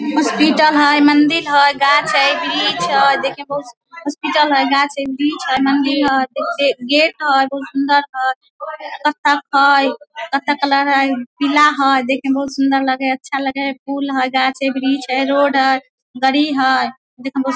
hospital है मंदिर है गाछ है वृक्ष है देख मे बहुत सुंदर हॉस्पिटल है मंदिर है गाछ है वृक्ष है पीछे गेट है बहुत सुंदर है बत्तख है बत्तख लग रहा है पीला है देखे मे बहुत सुंदर लगे है फूल हैं गाछ हैं वृक्ष है रोड है गाड़ी है देखे मे बहुत सुन्दर --